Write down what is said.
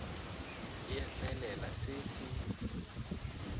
e a hlaelela se se